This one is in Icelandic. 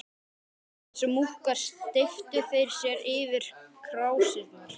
Eins og múkkar steyptu þeir sér yfir krásirnar.